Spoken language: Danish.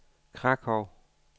Krakow